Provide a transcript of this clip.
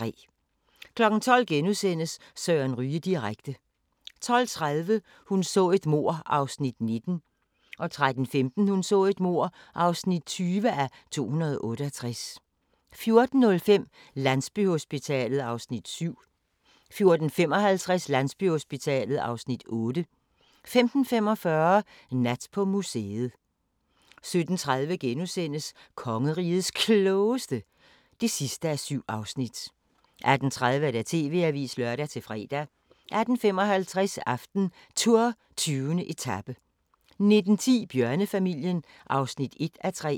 12:00: Søren Ryge direkte * 12:30: Hun så et mord (19:268) 13:15: Hun så et mord (20:268) 14:05: Landsbyhospitalet (Afs. 7) 14:55: Landsbyhospitalet (Afs. 8) 15:45: Nat på museet 17:30: Kongerigets Klogeste (7:7)* 18:30: TV-avisen (lør-fre) 18:55: AftenTour: 20. etape 19:10: Bjørnefamilien (1:3)